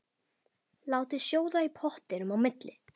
Látið sjóða í pottinum á milli.